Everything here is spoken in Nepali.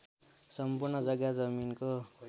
सम्पूर्ण जग्गा जमिनको